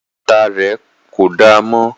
Bàtà rẹ̀ kò damọ́